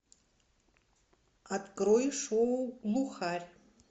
открой шоу глухарь